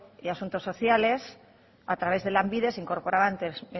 y asuntos sociales a través de lanbide se incorporaban